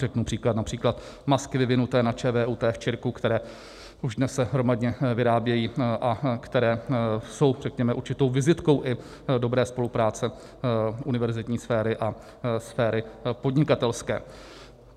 Řeknu příklad: například masky vyvinuté na ČVUT v CIIRC, které už dnes se hromadně vyrábějí a které jsou, řekněme, určitou vizitkou i dobré spolupráce univerzitní sféry a sféry podnikatelské.